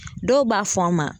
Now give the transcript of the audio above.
Dɔw b'a fɔ a ma.